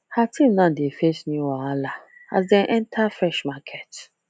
her team now dey face new wahala as dem enter fresh market